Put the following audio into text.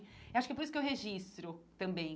E Acho que é por isso que eu registro também.